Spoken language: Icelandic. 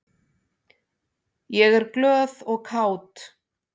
Ég er glöð og kát.